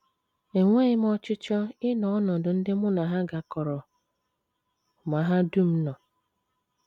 Enweghị m ọchịchọ ịnọ n’ọnọdụ ndị mụ na ha gakọrọ mahadum nọ.